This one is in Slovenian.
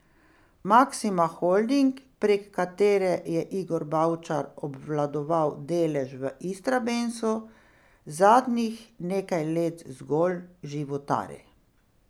Maksima Holding, prek katere je Igor Bavčar obvladoval delež v Istrabenzu, zadnjih nekaj let zgolj životari.